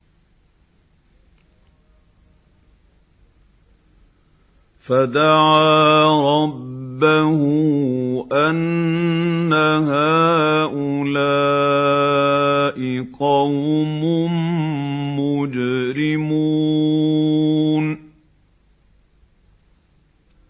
فَدَعَا رَبَّهُ أَنَّ هَٰؤُلَاءِ قَوْمٌ مُّجْرِمُونَ